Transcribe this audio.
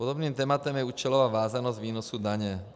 Podobným tématem je účelová vázanost výnosu daně.